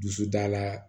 Dusu dala